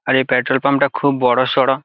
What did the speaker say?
আর এই petrol pump -টা খুব বড়ো সরো।